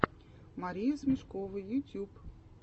мария смешкова ютьюб